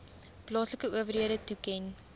plaaslike owerhede toeken